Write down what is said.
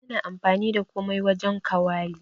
Bana amfani da komai wajen kawali.